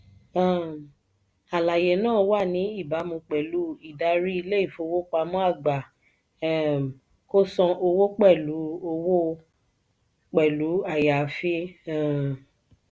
um àlàyé náà wà ní ìbámu pẹlú ìdarí ilé ifowópamọ́ àgbà um kò san owó pẹlu owó pẹlu ayaafi. um